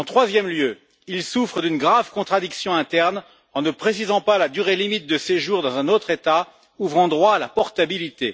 De plus, il souffre d'une grave contradiction interne en ne précisant pas la durée limite de séjour dans un autre État ouvrant droit à la portabilité.